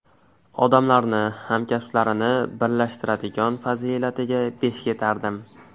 Odamlarni, hamkasblarini birlashtiradigan fazilatiga besh ketardim.